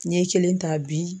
N'i ye kelen ta bi.